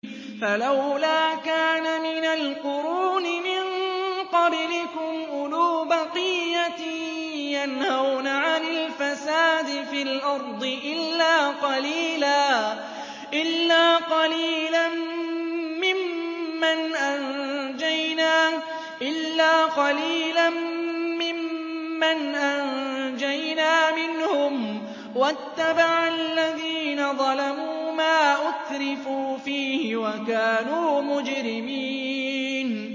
فَلَوْلَا كَانَ مِنَ الْقُرُونِ مِن قَبْلِكُمْ أُولُو بَقِيَّةٍ يَنْهَوْنَ عَنِ الْفَسَادِ فِي الْأَرْضِ إِلَّا قَلِيلًا مِّمَّنْ أَنجَيْنَا مِنْهُمْ ۗ وَاتَّبَعَ الَّذِينَ ظَلَمُوا مَا أُتْرِفُوا فِيهِ وَكَانُوا مُجْرِمِينَ